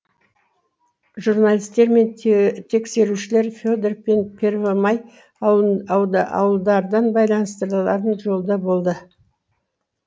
журналистер мен тексерушілер фе дор пен первомай ауылдардан байланыстырарын жолда болды